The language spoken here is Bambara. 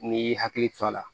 N'i y'i hakili to a la